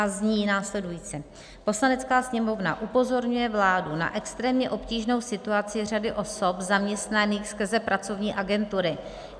A zní následujícně: "Poslanecká sněmovna upozorňuje vládu na extrémně obtížnou situaci řady osob zaměstnaných skrze pracovní agentury.